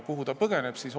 Kuhu ta põgeneb?